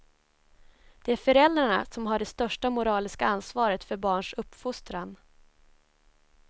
Det är föräldrarna som har det största moraliska ansvaret för barns uppfostran.